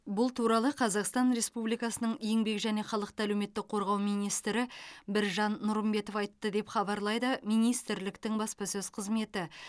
бұл туралы қазақстан республикасының еңбек және халықты әлеуметтік қорғау министрі біржан нұрымбетов айтты деп хабарлайды министрліктің баспасөз қызметі